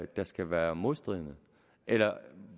der skal være modstridende eller